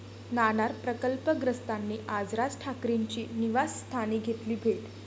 नाणार प्रकल्पग्रस्तांनी आज राज ठाकरेंची निवासस्थानी घेतली भेट